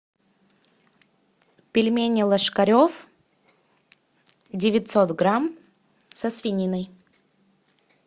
пельмени ложкарев девятьсот грамм со свининой